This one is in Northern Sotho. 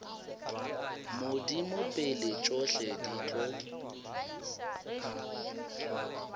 modimo pele tšohle di tlo